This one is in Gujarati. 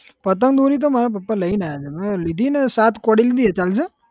પતંગ દોરી તો મારા પપ્પા લઇ ને આયા તા મે લીધી ને સાત કોડી લીધી છે ચાલશે?